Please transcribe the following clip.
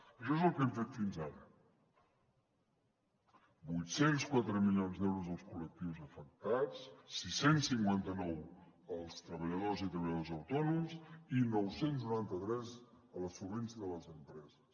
això és el que hem fet fins ara vuit cents i quatre milions d’euros als col·lectius afectats sis cents i cinquanta nou als treballadors i treballadores autònoms i nou cents i noranta tres a la solvència de les empreses